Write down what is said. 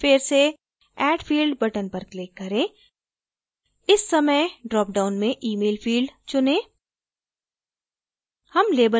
एक बार फिर से add field button पर click करें इस समय ड्रॉपडाउन में email field चुनें